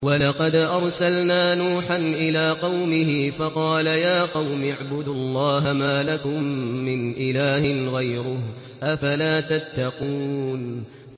وَلَقَدْ أَرْسَلْنَا نُوحًا إِلَىٰ قَوْمِهِ فَقَالَ يَا قَوْمِ اعْبُدُوا اللَّهَ مَا لَكُم مِّنْ إِلَٰهٍ غَيْرُهُ ۖ أَفَلَا تَتَّقُونَ